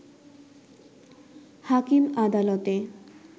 হাকিম আদালতে